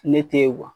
Ne te ye